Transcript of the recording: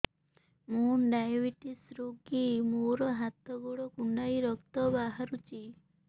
ମୁ ଡାଏବେଟିସ ରୋଗୀ ମୋର ହାତ ଗୋଡ଼ କୁଣ୍ଡାଇ ରକ୍ତ ବାହାରୁଚି